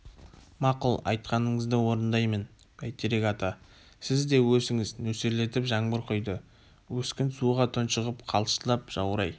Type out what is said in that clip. мақұл айтқаныңызды орындаймын бәйтерек ата сіз де өсіңіз нөсерлетіп жаңбыр құйды өскін суға тұншығып қалшылдап жаурай